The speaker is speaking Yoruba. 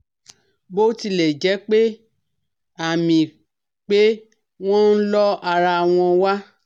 Bí ó tilẹ jẹ́ pé àmì pé wọ́n ń lọ ara wọ́n wà